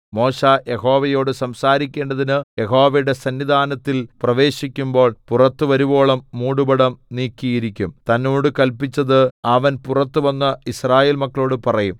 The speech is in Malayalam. മോശെ യഹോവയോട് സംസാരിക്കേണ്ടതിന് യഹോവയുടെ സന്നിധാനത്തിൽ പ്രവേശിക്കുമ്പോൾ പുറത്ത് വരുവോളം മൂടുപടം നീക്കിയിരിക്കും തന്നോട് കല്പിച്ചത് അവൻ പുറത്തുവന്ന് യിസ്രായേൽ മക്കളോട് പറയും